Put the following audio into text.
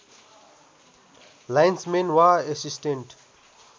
lines main वा assistant